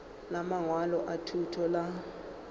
la mangwalo a thuto la